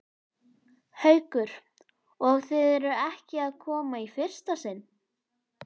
Haukur: Og þið eruð ekki að koma í fyrsta sinn?